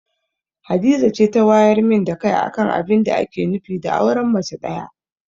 Hadiza ce ta wayar min da kai akan abinda ake nufi da auren mace ɗaya.